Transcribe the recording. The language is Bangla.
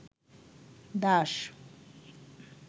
দাস